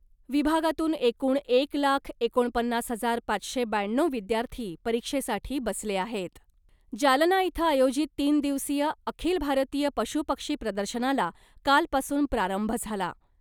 विभागातून एकूण एक लाख एकोणपन्नास हजार पाचशे ब्याण्णव विद्यार्थी परीक्षेसाठी बसले आहेत. जालना इथं आयोजित तीन दिवसीय ' अखिल भारतीय पशु पक्षी प्रदर्शना'ला कालपासून प्रारंभ झाला .